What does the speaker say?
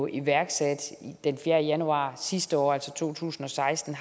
iværksatte den fjerde januar sidste år altså to tusind og seksten